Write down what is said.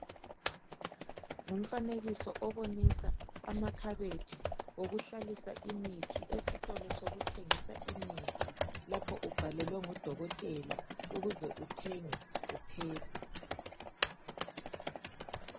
Ngumfanekiso obonisa amakhabethi okuhlalisa imithi esitolo sokuthengisa imithi lapho ubhalelwe ngudokotela ukuze uthenge uphephe.